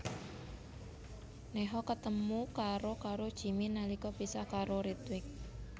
Neha ketemu karo karo Jimmy nalika pisah karo Ritwik